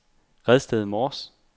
Redsted Mors